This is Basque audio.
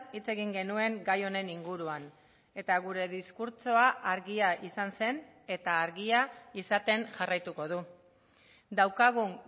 hitz egin genuen gai honen inguruan eta gure diskurtsoa argia izan zen eta argia izaten jarraituko du daukagun